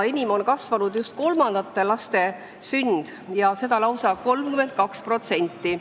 Enim on kasvanud just kolmandate laste sündide arv ja seda lausa 32%.